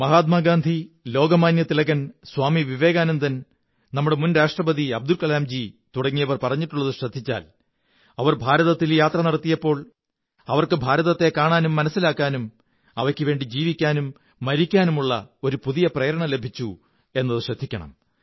മഹാത്മാ ഗാന്ധി ലോകമാന്യ തിലകൻ സ്വാമി വിവേകാനന്ദൻ നമ്മുടെ മുൻ രാഷ്ട്രപതി അബ്ദുൾ കലാംജി തുടങ്ങിയവർ പറഞ്ഞിട്ടുള്ളതു ശ്രദ്ധിച്ചാൽ അവർ ഭാരതത്തിൽ ഭ്രമണം നടത്തിയപ്പോൾ അവര്ക്ക് ഭാരതത്തെ കാണാനും മനസ്സിലാക്കാനും അവയ്ക്കുവേണ്ടി ജീവിക്കാനും മരിക്കാനുമുള്ള ഒരു പുതിയ പ്രേരണ ലഭിച്ചു എന്നത് ശ്രദ്ധിക്കണം